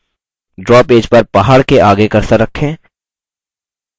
draw page पर पहाड़ के आगे cursor रखें